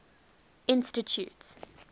institute